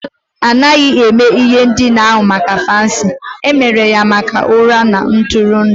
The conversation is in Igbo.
A naghị eme ihe ndina ahụ maka fancy, e mere ya maka ụra na ntụrụndụ